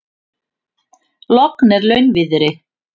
Logn er launviðri.